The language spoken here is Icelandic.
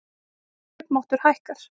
Kaupmáttur hækkar